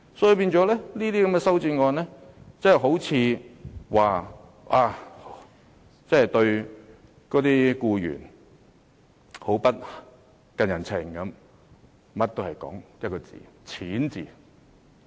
修正案看似是訴說《條例草案》對僱員不近人情，最終也只不過是圍繞一個"錢"字。